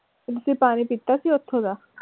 ਤੁਸੀਂ ਪਾਣੀ ਪਿਤਾ ਸੀ ਓਥੋਂ ਦਾ?